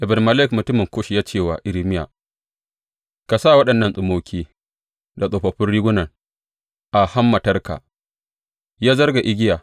Ebed Melek mutumin Kush ya ce wa Irmiya, Ka sa waɗannan tsummoki da tsofaffin rigunan a hammatarka, ya zarga igiya.